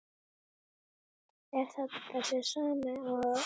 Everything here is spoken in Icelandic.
Er það þessi sami og.